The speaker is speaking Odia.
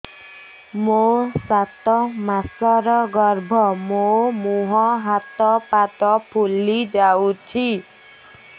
ମୋ ସାତ ମାସର ଗର୍ଭ ମୋ ମୁହଁ ହାତ ପାଦ ଫୁଲି ଯାଉଛି